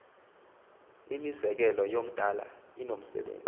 imizekelo umdala unomsebenzi